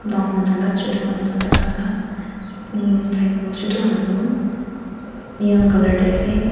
dangor manu la chutu manu la bacha han la umm cycle chutu han tu neon colour tae ase.